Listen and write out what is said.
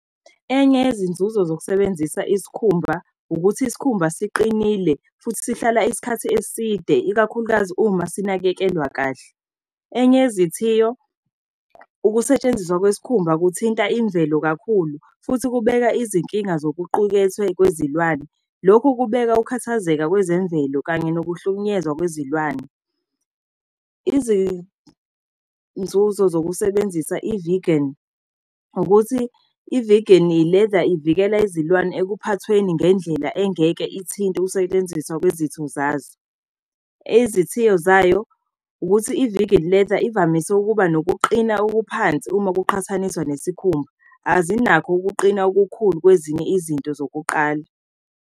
Enye izinzuzo zokusebenzisa isikhumba, ukuthi isikhumba siqinile, futhi sihlala isikhathi eside, ikakhulukazi uma sinakekelwa kahle. Enye izithiyo ukusetshenziswa kwesikhumba kuthinta imvelo kakhulu, futhi kubeka izinkinga zokuqukethwe kwezilwane. Lokhu kubeka ukukhathazeka kwezemvelo kanye nokuhlukunyezwa kwezilwane. Izinzuzo zokusebenzisa i-vegan, ukuthi i-vegan leather ivikela izilwane ekuphathweni ngendlela engeke ithinte ukusebenziswa kwezitho zazo. Izithiyo zayo ukuthi i-vegan leather ivamise ukuba nokuqina okuphansi uma kuqhathaniswa nesikhumba, azinakho ukuqina okukhulu kwezinye izinto zokuqala.